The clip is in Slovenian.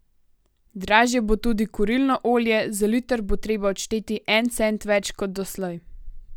Dražje bo tudi kurilno olje, za liter bo treba odšteti en cent več kot doslej.